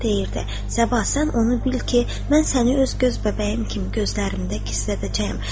O deyirdi: Sabah, sən onu bil ki, mən səni öz göz bəbəyim kimi gözlərimdə gizlədəcəyəm.